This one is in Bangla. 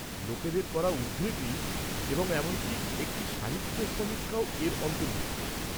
লোকেদের করা উদ্ধৃতি এবং এমনকি একটি সাহিত্য সমীক্ষাও এর অন্তর্ভুক্ত।